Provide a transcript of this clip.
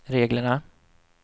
reglerna